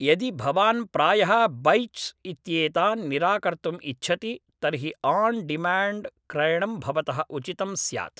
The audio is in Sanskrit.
यदि भवान् प्रायः बैच्स् इत्येतान् निराकर्तुम् इच्छति तर्हि आन् डिमाण्ड् क्रयणं भवतः उचितं स्यात्।